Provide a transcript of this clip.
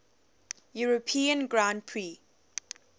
european grand prix